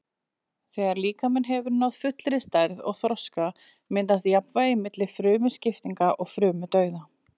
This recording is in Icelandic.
Þegar líkaminn hefur náð fullri stærð og þroska myndast jafnvægi milli frumuskiptinga og frumudauða.